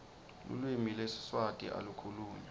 lulwimi lwesiswati alu khulunywa